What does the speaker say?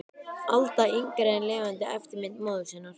Alda yngri er lifandi eftirmynd móður sinnar.